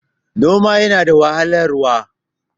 noman yana da wahalarwa